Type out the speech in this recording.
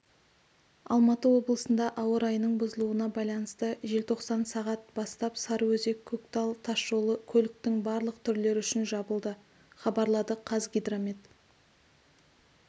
алматы облысында ауа райының бұзылуына байланысты желтоқсан сағат бастап сарыөзек-көктал тас жолы көліктің барлық түрлері үшін жабылды хабарлады қазгидромет